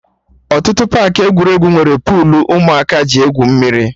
Ọtụtụ paakị egwuregwu nwere puulu ụmụaka ji egwu mmiri